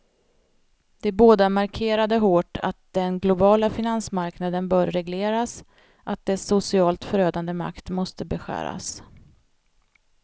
De båda markerade hårt att den globala finansmarknaden bör regleras, att dess socialt förödande makt måste beskäras.